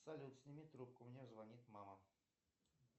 салют сними трубку мне звонит мама